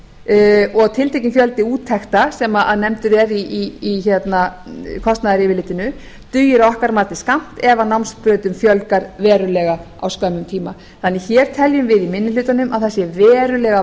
og að tiltekinn fjöldi úttekta sem nefndur er í kostnaðaryfirlitinu dugir að okkar mati skammt ef námsbrautum fjölgar verulega á skömmum tíma hér teljum við því í minni hlutanum að það sé verulega